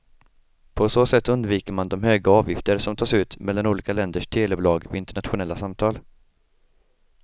På så sätt undviker man de höga avgifter som tas ut mellan olika länders telebolag vid internationella samtal.